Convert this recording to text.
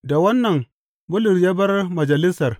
Da wannan, Bulus ya bar Majalisar.